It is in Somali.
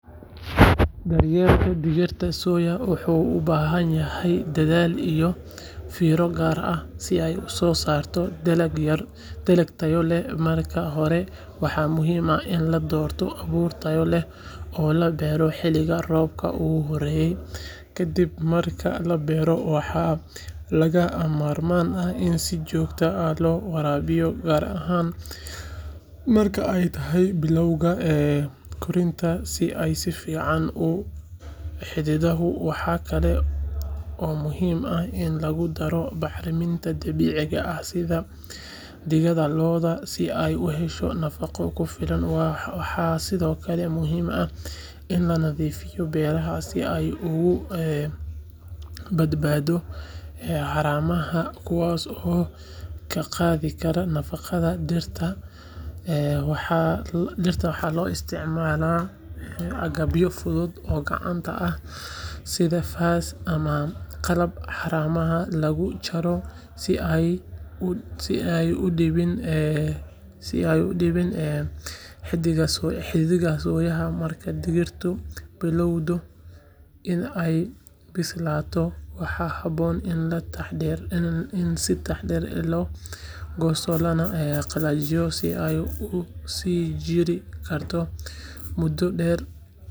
Daryeelka digirta soya wuxuu u baahan yahay dadaal iyo fiiro gaar ah si ay u soo saarto dalag tayo leh marka hore waxaa muhiim ah in la doorto abuur tayo leh oo la beero xiliga roobka ugu horeeya ka dib marka la beero waxaa lagama maarmaan ah in si joogto ah loo waraabiyo gaar ahaan marka ay tahay bilowga koritaanka si ay si fiican u xididato waxaa kale oo muhiim ah in lagu daro bacriminta dabiiciga ah sida digada lo’da si ay u hesho nafaqo ku filan waxaa sidoo kale muhiim ah in la nadiifiyo beeraha si ay uga badbaado haramaha kuwaas oo ka qaadi kara nafaqada dhirta waxaa la isticmaalaa agabyo fudud oo gacanta ah sida faas ama qalab haramaha lagu jaro si aanay u dhibin xididka soya marka digirtu bilowdo in ay bislaato waxaa haboon in si taxaddar leh loo goosto lana qalajiyo si ay u sii jiri karto muddo dheer.